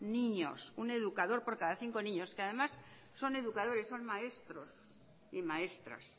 niños un educador por cada cinco niños y que además son educadores son maestros y maestras